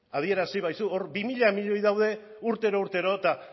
adierazi ba aizu hor bi mila milioi daude urtero urtero eta